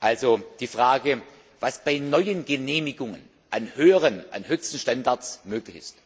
also die Frage, was bei neuen Genehmigungen an höheren, an höchsten Standards möglich ist.